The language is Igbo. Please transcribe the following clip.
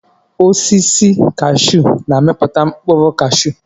Osisi kashuu na-amiputa mkpụrụ cashuu.